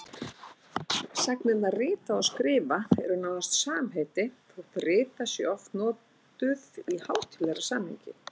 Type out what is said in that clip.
Sagnirnar rita og skrifa eru nánast samheiti þótt rita sé oft notuð í hátíðlegra samhengi.